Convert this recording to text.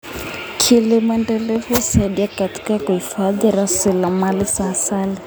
Kilimo endelevu husaidia katika kuhifadhi rasilimali za asili.